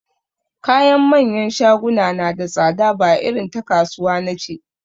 Kayan manyan shaguna na da tsada ba irin ta kasuwa nace